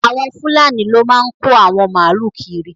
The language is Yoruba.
Awọn Fùlànì ló máa n kò awọn máàlú kírì